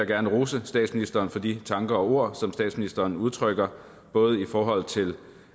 gerne rose statsministeren for de tanker og ord som statsministeren udtrykker både i forhold til